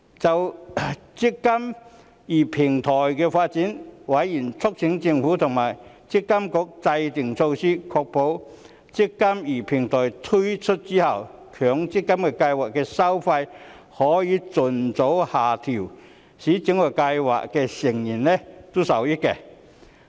就"積金易"平台的發展，委員促請政府和強制性公積金計劃管理局制訂措施，確保"積金易"平台推出後，強制性公積金計劃的收費可盡早下調，使計劃成員受惠。